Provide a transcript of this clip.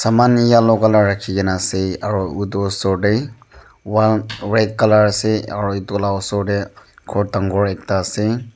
saman yellow colour rakhikena ase utu osor te wall red colour ase aro etu la osor ghor dangor ekta ase.